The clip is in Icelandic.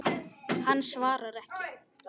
Hann svarar ekki.